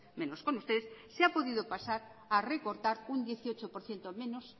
menos con ustedes se ha podido pasar a recortar un dieciocho por ciento menos